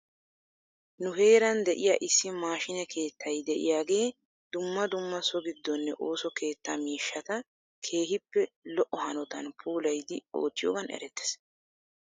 Nu heeran de'iyaa issi maashiine keettay diyaagee dumma dumma so giddonne ooso keetya miishshata keehippe lo'o hanotan puulayidi oottiyoogan erettes.